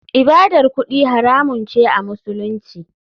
ibadar kudi haramun ce a musulunci.